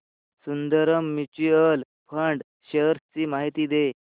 Sundaram mutual fund shares ची माहिती दे